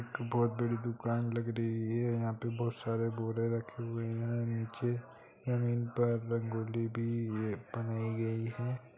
यहां बहुत बड़ी दुकान लग रही है यहां पर बोहोत सारे बोरे रखे हुए है निचे ज़मीन पर रंगोली भी बनायीं गयी है ।